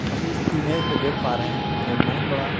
image में देख पा रहे हैं एक बहुत बड़ा --